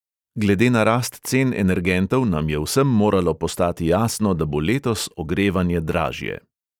Glede na rast cen energentov nam je vsem moralo postati jasno, da bo letos ogrevanje dražje.